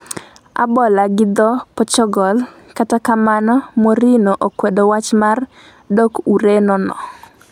(A Bola-gi dho Pochogol) kata kamano Mourinho okwedo wach mar dok Ureno no